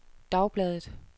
dagbladet